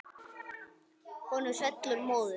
Honum svellur móður.